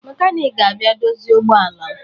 Mekaniki ga-abịa dozie ụgbọala m